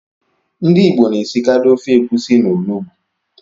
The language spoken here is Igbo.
Ndị Igbo na-esikarị ofe egwusi na Onugbu